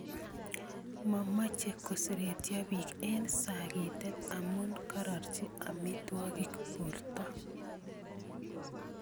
Momoche koseretyo biik eng saakeetet amu karorchi amitwaogik boorto